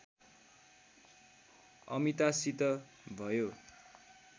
अमितासित भयो